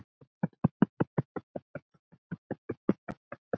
Kvaðst hann heita